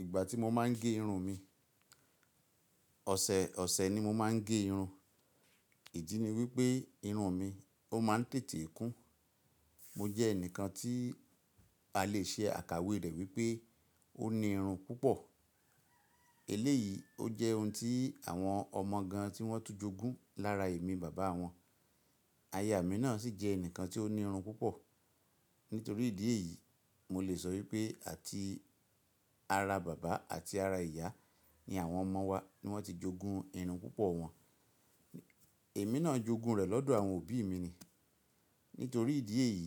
Ìgbà tí mo máa ń gé irun mi, ọ̀sẹ̀ ọ̀sẹ̀ ni mo máa ń gé irun. Ìdí ni wípé irun mi ó máa ń tètè kún. Mo jẹ́ ẹnìkan tí a lè ṣe àkàwé rẹ̀ wípé ó ní irun púpọ̀. Eléyìí ó jẹ́ ohun tí àwọn ọmọ gan tí wọ́n tún jogún lára èmi bàbá wọn. Ayà mi náà sì jẹ́ ẹnìkan tí ó ní irun púpọ̀. Nítorí ìdí èyí, mo lè sọ wípé àti ara bàbá àti ara ìyá ni àwọn ọmọ wa ni wọ́n ti jogún irun púpọ̀ wọn. Èmi náà jogún rẹ̀ lọ́dọ̀ àwọn òbí mi ni. Nítorí ìdí èyí,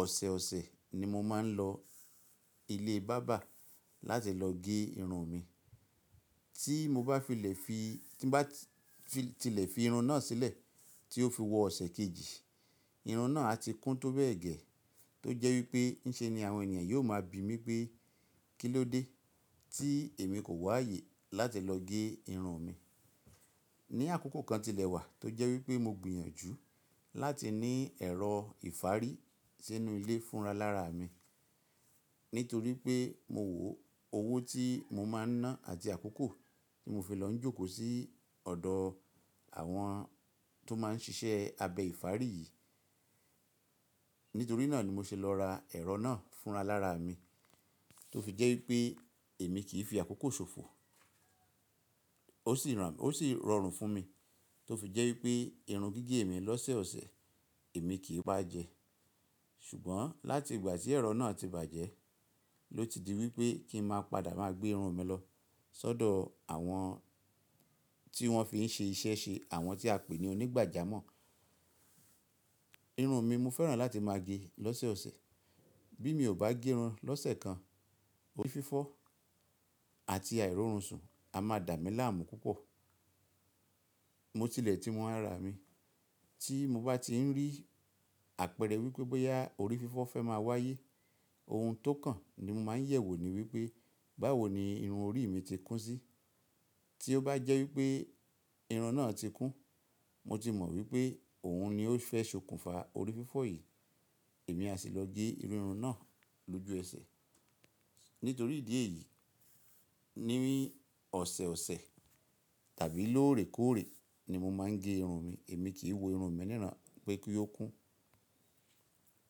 ọ̀sẹ̀ ọ̀sẹ̀ ni mo máa ń lọ ilé bábà láti lọ gé irun mi. Tí mo bá tilẹ̀ fi irun náà sílẹ̀ tí ó fi wọ ọ̀sẹ̀ kejì, irun náà a ti kún tó bẹ́ẹ̀ gẹ. Tó jẹ́ wípé ǹṣe ni àwọn ènìyàn yóò máa bi mí pé, "kí ló dé tí èmi kò wá ààyè láti lọ gé irun mi?" Ni àkókò kan tilẹ̀ wà tó jẹ́ wípé mo gbìyànjú láti ní ẹ̀rọ ìfárí sínú ilé fúnra lára mi. Nítorí pé mo wò owó tí mo máa ń ná àti àkókò tí mo fi lọ ń jókòó sí ọ̀dọ̀ àwọn tó máa ń ṣiṣẹ́ abẹ ìfárí yìí. Nítorí náà ni mo ṣe lọ ra ẹ̀rọ náà fúnra lára mi. Tó fi jẹ́ wípé èmi kì í fi àkókò ṣòfò. Ó sì rọrùn fún mi. Tó fi jẹ́ wípé irun gígé mi lọ́sẹ̀ ọ̀sẹ̀ èmi kì í bá jẹ. Ṣùgbọ́n láti ìgbà tí ẹ̀rọ náà ti bàjẹ́ ló ti di wípé kí n máa padà máa gbé irun mi lọ sọ́dọ̀ àwọn tí wọ́n fi ń ṣe iṣẹ́ ṣe àwọn tí a pè ní onígbàjámọ̀. Irun mi mo fẹ́ràn láti máa gé lọ́sẹ̀ ọ̀sẹ̀. Bí mi ò bá gé irun lọ́sẹ̀ kan, orí fífọ́ àti àìrórun sùn a máa dà mí láàmú púpọ̀. Mo tilẹ̀ ti mọ ara mi. Tí mo bá ti rí àpẹẹrẹ wípé bóyá orí fífọ́ fẹ́ máa wáyé, ohun tó kàn ni mo máa ń yẹ̀wò ni wípé báwo ni irun orí mi ti kún sí. Tí ó bá jẹ́ wípé irun náà ti kún, mo ti mọ̀ wípé òun ni ó fẹ́ ṣokùnfà orí fífọ́ yìí. Èmi a sì lọ gé irun náà lójú ẹsẹ̀. Nítorí ìdí èyí, níní ọ̀sẹ̀ ọ̀sẹ̀ tàbí lóòrèkóòrè ni mo máa ń gé irun mi. Èmi kì í wo irun mi nírà pé kí ó kún.